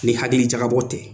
Ni hakili jagabɔ tɛ.